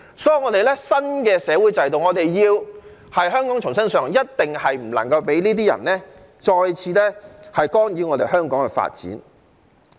所以，在我們新的社會制度下，香港要重新上路，一定不能讓這些人再次干擾香港的發展。